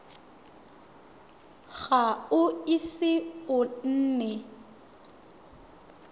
ga o ise o nne